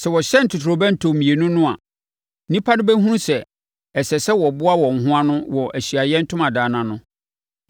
Sɛ wɔhyɛn ntotorobɛnto mmienu no a, nnipa no bɛhunu sɛ, ɛsɛ sɛ wɔboa wɔn ho ano wɔ Ahyiaeɛ Ntomadan no ano.